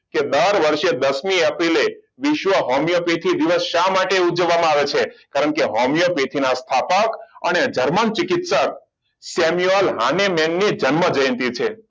કે દર વર્ષે દસમી એપ્રિલે વિશ્વ હોમિયોપેથીક દિવસ શા માટે ઉજવવામાં આવે છે કારણ કે હોમિયોપેથીક ના સ્થાપક અને જર્મનની જન્મ જયંતી છે